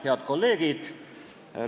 Head kolleegid!